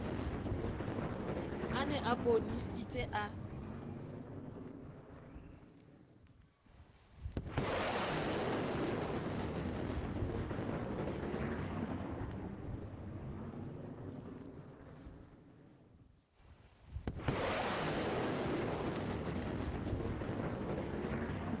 a ne a bonesitse a